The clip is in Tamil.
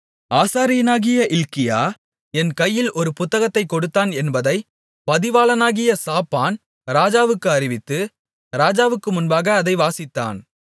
ஆசாரியனாகிய இல்க்கியா என் கையில் ஒரு புத்தகத்தைக் கொடுத்தான் என்பதைப் பதிவாளனாகிய சாப்பான் ராஜாவுக்கு அறிவித்து ராஜாவுக்கு முன்பாக அதை வாசித்தான்